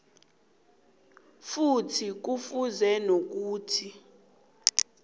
futhi kufuze nokuthi